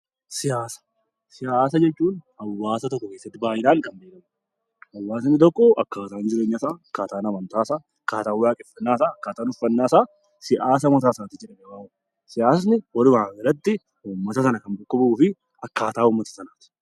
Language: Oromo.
Siyaasa jechuun hawaasa tokko biratti baay'inaan kan beekamu, hawaasni tokko akkaataan jireenya isaa, akkaataan amantaa isaa, akkaataan waaqeffannaa isaa, akkaataan uffannaa isaa 'siyaasa mataa isaatii' jedhamee waamama. Siyaasni walumaa galatti uummata sana kan bakka bu'uu fi akkaataa uummata sanaa ti.